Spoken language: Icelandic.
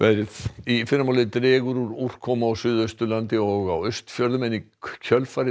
í fyrramálið dregur úr úrkomu á Suðausturlandi og á Austfjörðum en í kjölfarið